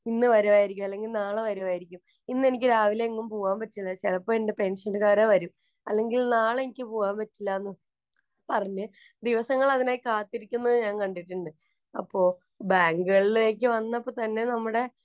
ഇന്ന് വരുവായിരിക്കും, അല്ലെങ്കില്‍ നാളെ വരുവായിരിക്കും. ഇന്ന് എനിക്ക് രാവിലെ എങ്ങും പോകാന്‍ പറ്റില്ല. ചെലപ്പോ എന്‍റെ പെന്‍ഷന്‍കാര് വരും. അല്ലെങ്കില്‍ നാളെ എനിക്ക് പോകാന്‍ പറ്റില്ലാന്നു പറഞ്ഞു ദിവസങ്ങള്‍ അതിനായി കാത്തിരിക്കുന്നത് ഞാന്‍ കണ്ടിട്ടുണ്ട്. അപ്പൊ ബാങ്കുകളിലേക്കു വന്നപ്പോള്‍ തന്നെ നമ്മുടെ